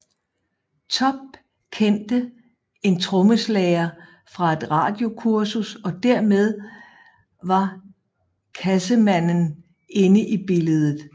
Topp kendte en trommeslager fra et radiokursus og dermed var Cassemannen inde i billedet